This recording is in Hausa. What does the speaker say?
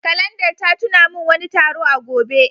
Kalandar ta tuna min wani taro a gobe.